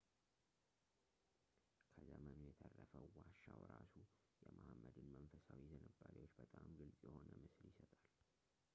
ከዘመኑ የተረፈው ዋሻው ራሱ የመሐመድን መንፈሳዊ ዝንባሌዎች በጣም ግልፅ የሆነ ምስል ይሰጣል